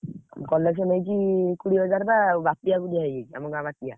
Collection ହେଇଛି କୋଡିଏ ହଜାର ବା ବାପିଆ କୁ ଦିଆହେଇଯାଇଛି ଆମ ଗାଁ ବାପିଆ।